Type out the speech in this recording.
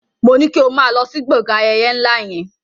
Moní kí o máa lọ sí gbọ̀ngàn ayẹyẹ ńlá yẹn!